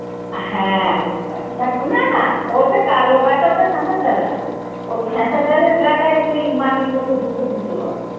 হ্যাঁ দেখো না না ওটা কালো গাটা ওটা খাসার ডাল নয়। ওই খাসার ডালের গা টা একটু মাটির মতো ধুসর ধুসর হয়।